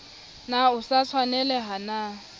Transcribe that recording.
na o sa tshwanelaha na